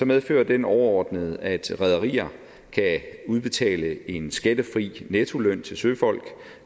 medfører den overordnet at rederier kan udbetale en skattefri nettoløn til søfolk